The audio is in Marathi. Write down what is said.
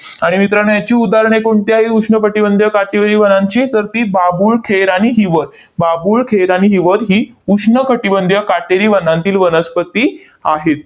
आणि मित्रांनो, याची उदाहरणे कोणती आहे उष्ण कटिबंधीय काटेरी वनांची? तर ती बाभूळ, खेर आणि हिवर. बाभूळ, खेर आणि हिवर ही उष्ण कटिबंधीय काटेरी वनांतील वनस्पती आहे.